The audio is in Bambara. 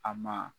A ma